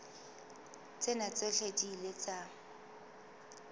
tsena tsohle di ile tsa